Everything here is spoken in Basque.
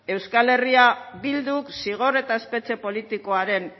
eh bilduk zigor eta espetxe politikaren